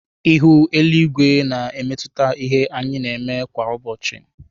Ihu eluigwe na emetụta ihe anyị na-eme kwa ụbọchị.